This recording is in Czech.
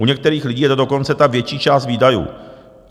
U některých lidí je to dokonce ta větší část výdajů.